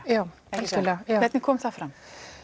já hvernig kom það fram